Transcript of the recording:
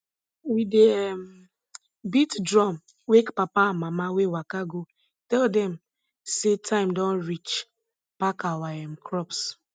we dey um beat drum wake papa and mama wey waka go tell dem say time don reach pack our um crops